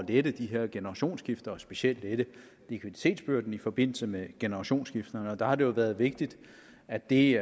lette de her generationsskifter og specielt lette likviditetsbyrden i forbindelse med generationsskifter og der har det jo været vigtigt at det